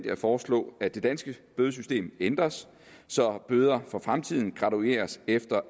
at foreslå at det danske bødesystem ændres så bøder for fremtiden altså gradueres efter